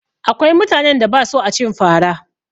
Akwai mutanen da ba sua cin fa ra